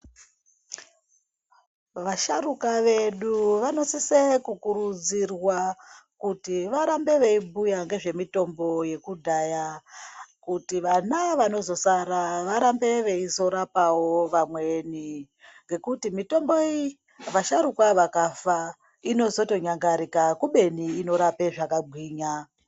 Vasharuka vedu vanosise kukurudzirwa kuti varambe veibhuya ngezvemitombo yekudhaya. Kuti vana vanozosara varambe veizorapavo vamweni. Ngekuti mitombo iyi vasharuka vakafa inozotonyangarika kubeni inorapa zvakagwinya.